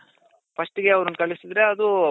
first ಗೆ ಅವರನ್ನ ಕಳ್ಸಿದ್ರೆ ಅದು